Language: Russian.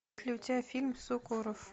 включай фильм сукоров